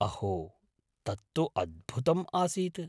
अहो! तत् तु अद्भुतम् आसीत्।